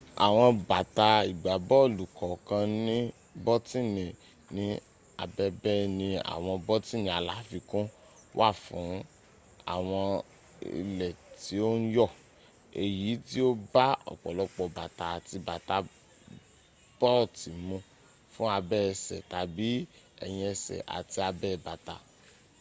awon bata igbabolu kookan ni botini ni abebeeni awon botini alafikun wa fun awon ile ti o n yo eyi ti o ba opolopo bata ati bata booti mu fun abe ese tabi eyin ese ati abe bata